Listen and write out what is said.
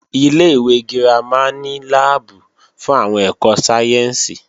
Ilé-ìwé girama ní láàbù fún àwọn ẹ̀kọ́ sáyẹ́ǹsì